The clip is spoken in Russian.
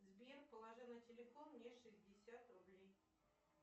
сбер положи на телефон мне шестьдесят рублей